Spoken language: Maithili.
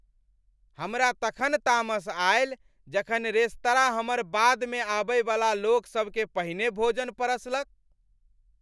हमरा तखन तामस आएल जखन रेस्तरां हमर बादमे आबयवला लोकसभकेँ पहिने भोजन परसलक।